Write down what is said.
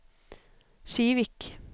Kivik